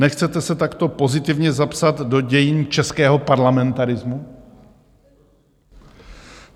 Nechcete se takto pozitivně zapsat do dějin českého parlamentarismu?